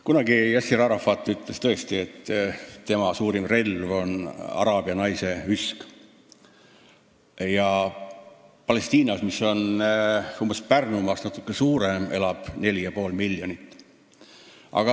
Kunagi ütles Yasser Arafat tõesti nii, et tema suurim relv on araabia naise üsk, ja Palestiinas, mis on Pärnumaast natuke suurem, elab 4,5 miljonit inimest.